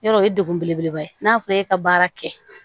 Yɔrɔ o ye degun belebeleba ye n'a fɔra e ka baara kɛ